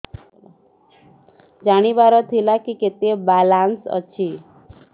ଜାଣିବାର ଥିଲା କି କେତେ ବାଲାନ୍ସ ଅଛି